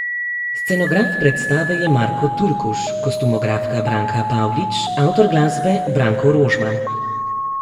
Scenograf predstave je Marko Turkuš, kostumografka Branka Pavlič, avtor glasbe Branko Rožman.